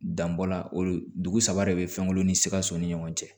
Danbɔ la o dugusa de bɛ fɛnw ni sikaso ni ɲɔgɔn cɛ